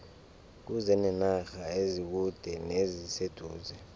kuze nenarha ezikude neziseduze